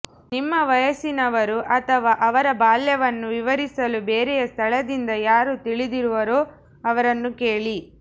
ನಿಮ್ಮ ವಯಸ್ಸಿನವರು ಅಥವಾ ಅವರ ಬಾಲ್ಯವನ್ನು ವಿವರಿಸಲು ಬೇರೆಯ ಸ್ಥಳದಿಂದ ಯಾರು ತಿಳಿದಿರುವರೋ ಅವರನ್ನು ಕೇಳಿ